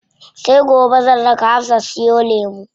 Sai gobe zan raka Hafsa siyo lemu.